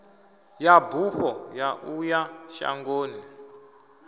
ya bufho ya uya shangoni